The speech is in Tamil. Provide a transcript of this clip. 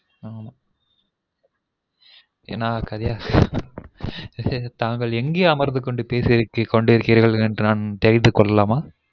நான் தாங்கள் எங்கே அமர்ந்து கொண்டு பேசிர் பேசி கொண்டீருக்கிறீர்கள் என்று நான் தெரிந்து கொள்ளலாமா